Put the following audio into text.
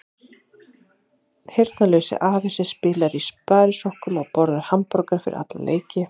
Heyrnarlaus afi sem spilar í sparisokkum og borðar hamborgara fyrir alla leiki.